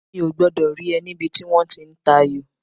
Mi ò gbọ́dọ̀ rí ẹ níbi tí wọ́n ti ń tayò